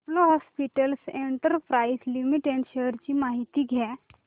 Apollo hospitals enterprises limited shares ची माहिती द्या